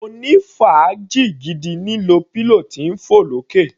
Mo ní fàájì gidi lílo pillow tí ń fọ̀ lókè.